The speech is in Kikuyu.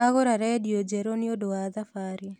Agũra rendio njerũ nĩũndũ wa thabarĩ